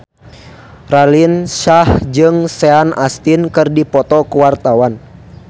Raline Shah jeung Sean Astin keur dipoto ku wartawan